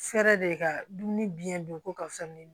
Fɛrɛ de ka dumuni biyɛn dun ko ka fɛn ɲini